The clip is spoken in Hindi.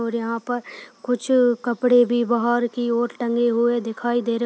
और यहाँ पर कुछ कपड़े भी बाहर की ओर टंगे हुए दिखाई दे रहे --